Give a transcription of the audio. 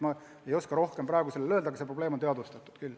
Ma ei oska rohkem praegu öelda, aga see probleem on teadvustatud küll.